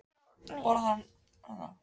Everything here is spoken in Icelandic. Mjög góð síða Kíkir þú oft á Fótbolti.net?